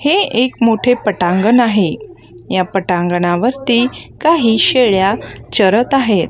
हे एक मोठे पटांगण आहे. या पटांगणावरती काही शेळ्या चरत आहेत.